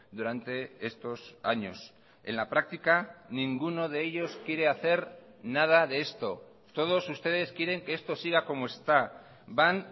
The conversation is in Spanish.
durante estos años en la práctica ninguno de ellos quiere hacer nada de esto todos ustedes quieren que esto siga como está van